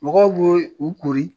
Mɔgɔw bi u kori